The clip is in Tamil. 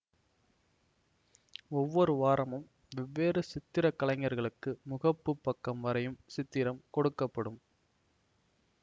ஒவ்வொரு வாரமும் வெவ்வேறு சித்திரக்கலைஞர்களுக்கு முகப்பு பக்கம் வரையும் சித்திரம் கொடுக்க படும்